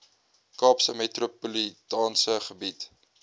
kaapse metropolitaanse gebied